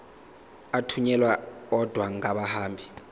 athunyelwa odwa angahambi